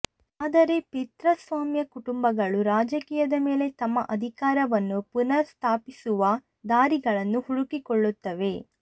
ಆದರೆ ಪಿತೃಸ್ವಾಮ್ಯ ಕುಟುಂಬಗಳು ರಾಜಕೀಯದ ಮೇಲೆ ತಮ್ಮ ಅಧಿಕಾರವನ್ನು ಪುನರ್ ಸ್ಥಾಪಿಸಿಸುವ ದಾರಿಗಳನ್ನು ಹುಡುಕಿಕೊಳ್ಳುತ್ತವೆ